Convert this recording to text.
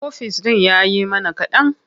Ofis ɗin ya yi mana kaɗan.